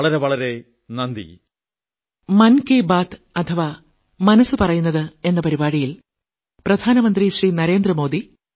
വളരെ വളരെ നന്ദി